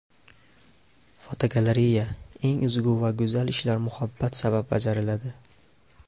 Fotogalereya: Eng ezgu va go‘zal ishlar muhabbat sabab bajariladi.